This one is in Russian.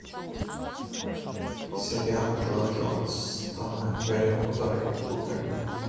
сериал джо джонстона гарри поттер и кубок огня